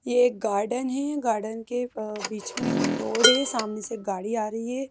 ये एक गार्डन है गार्डन के ब बीच में एक रोड है सामने से एक गाड़ी आ रही है।